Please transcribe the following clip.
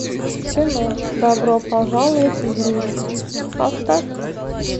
кино добро пожаловать в рим поставь ка